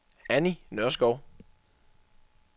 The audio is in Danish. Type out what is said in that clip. Anni Nørskov